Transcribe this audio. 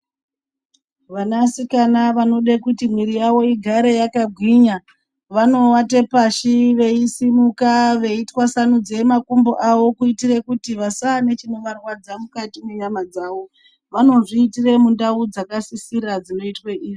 Vanasikana vanoda kuti mwiri yavo igare yakagwinya vanowate pashi veisimuka veitwasanudze makumbo avo kuti vasanechinorwadza mukati mwenyama dzavo. Vanozviite mundau dzakasisira dzinoitwe izvi.